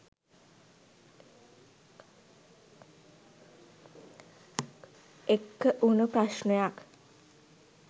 එක්ක වුණු ප්‍රශ්නයක්..